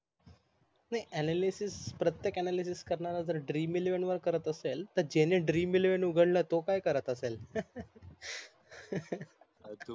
नाही ANALYSIS प्रत्येक ANALYSIS करणारा जर DREAMELEVEN करत असेल तर ज्यानी DREAMELEVEN उघडल ट काय करत असेल